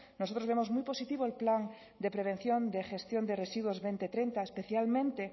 nosotros vemos muy positivo el plan de prevención y gestión de residuos dos mil treinta especialmente